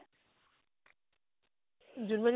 Junmoni